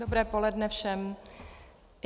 Dobré poledne všem.